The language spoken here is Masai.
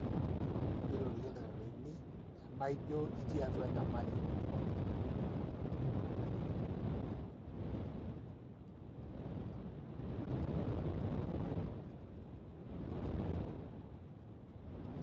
irorie ildakitarini tena ijio itii atua enyamali.